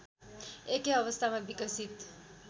एकै अवस्थामा विकसित